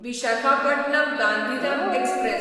Visakhapatnam Gandhidham express